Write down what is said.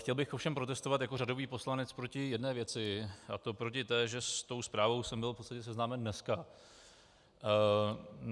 Chtěl bych ovšem protestovat jako řadový poslanec proti jedné věci, a to proti té, že s tou zprávou jsem byl v podstatě seznámen dneska.